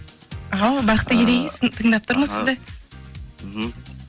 ал бақтыгерей тыңдап тұрмыз сізді мхм